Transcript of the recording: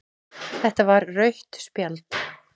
Þetta var rautt spjald